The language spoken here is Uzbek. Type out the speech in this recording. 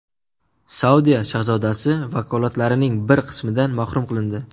Saudiya shahzodasi vakolatlarining bir qismidan mahrum qilindi.